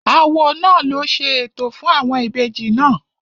Awo náà ló ṣe ètò fún àwọn ìbejì náà